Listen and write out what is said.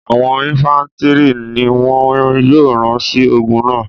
àwọn infàntiri ni wọn yóò ran si ogun náa